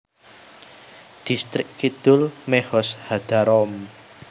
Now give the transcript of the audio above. Dhistrik Kidul Mehoz HaDarom